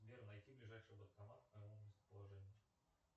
сбер найти ближайший банкомат к моему местоположению